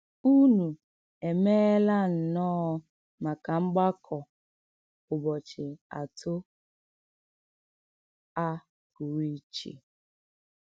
Ùnú èméélà nnọọ̀ maka mgbàkọ̀ ùbọ̀chì àtò à pụrụ íché.